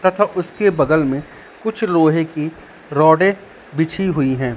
तथा उसके बगल में कुछ लोहे की रॉडे बिछी हुई है।